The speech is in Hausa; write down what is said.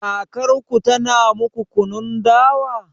Kakarku tana muku kunun dawa?